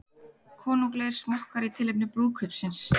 Konunglegir smokkar í tilefni brúðkaupsins